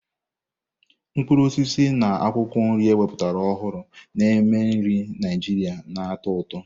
Mkpụrụ osisi na akwụkwọ nri ewepụtara ọhụrụ na-eme nri Naijiria na-atọ ụtọ.